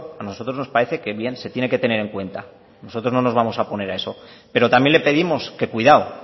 a nosotros nos parece que bien se tiene que tener en cuenta nosotros no nos vamos a oponer a eso pero también le pedimos que cuidado